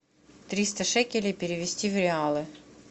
триста шекелей перевести в реалы